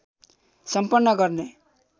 सम्पन्न गर्ने